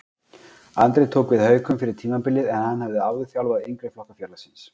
Andri tók við Haukum fyrir tímabilið en hann hafði áður þjálfaði yngri flokka félagsins.